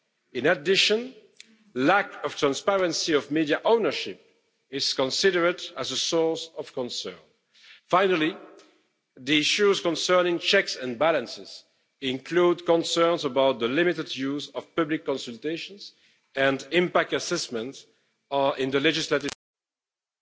In addition, lack of transparency of media ownership is considered a source of concern. Finally, the issues concerning checks and balances include concerns about the limited use of public consultations and impact assessments in the legislative process.